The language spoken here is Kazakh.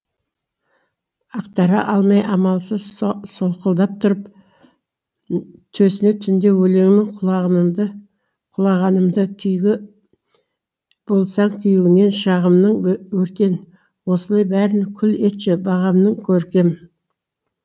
ақтара алмай амалсыз солқылдап тұрып төсіне түнде өлеңнің құлағанымды күйіге болсаң күйеуінің шағымның өртен осылай бәрін күл етші бағымның көркем